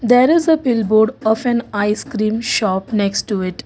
there is a billboard of an icecream shop next to it.